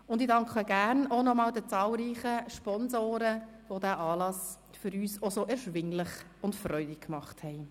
Ich danke auch noch einmal den zahlreichen Sponsoren, die den Anlass so erschwinglich und erfreulich gemacht haben.